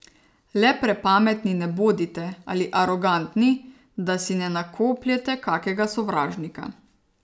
Le prepametni ne bodite ali arogantni, da si ne nakopljete kakega sovražnika.